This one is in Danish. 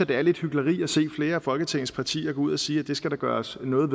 det er lidt hyklerisk at flere af folketingets partier går ud og siger at det skal der gøres noget